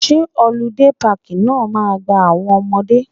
Ṣé họludé páàkì náà ma gba àwọn ọmọdé